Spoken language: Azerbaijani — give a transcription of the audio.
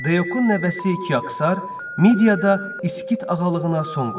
Deyokun nəvəsi Kiksər Midiyada İskit ağalığına son qoydu.